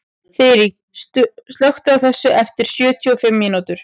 Þyri, slökktu á þessu eftir sjötíu og fimm mínútur.